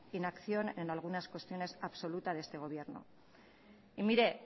inacción en algunas cuestiones absolutas de este gobierno y mire